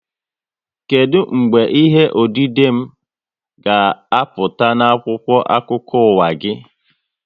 Kedụ mgbe ihe odide m ga-apụta n'akwụkwọ akụkọ ụwa gị?